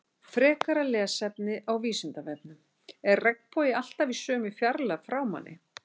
Frekara lesefni á Vísindavefnum: Er regnbogi alltaf í sömu fjarlægð frá manni?